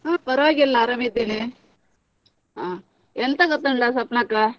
ಹಾ ಪರವಾಗಿಲ್ಲ ಆರಾಮಿದ್ದೇನೆ. ಹಾ ಎಂತ ಗೊತ್ತುಂಟಾ ಸ್ವಪ್ನಕ್ಕ?